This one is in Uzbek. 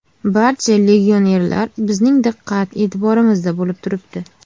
Barcha legionerlar bizning diqqat e’tiborimizda bo‘lib turibdi.